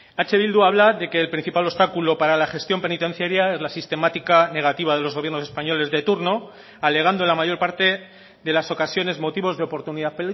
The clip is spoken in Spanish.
eh bildu habla de que el principal obstáculo para la gestión penitenciaria es la sistemática negativa de los gobiernos españoles de turno alegando en la mayor parte de las ocasiones motivos de oportunidad